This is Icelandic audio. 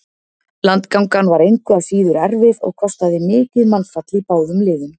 Landgangan var engu að síður erfið og kostaði mikið mannfall í báðum liðum.